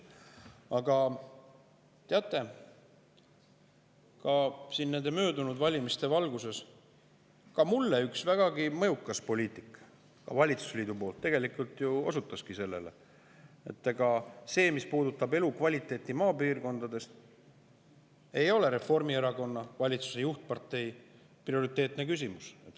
Aga teate, möödunud valimiste valguses osutas üks vägagi mõjukas poliitik valitsusliidust minuga sellele, et ega see, mis puudutab elukvaliteeti maapiirkondades, ei ole tegelikult Reformierakonnale, valitsuse juhtparteile, prioriteetne küsimus.